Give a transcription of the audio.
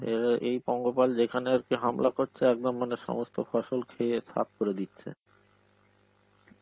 এবার এই পঙ্গপাল যেখানে আর কি হামলা করছে একদম মানে সমস্ত ফসল খেয়ে সাফ করে দিচ্ছে.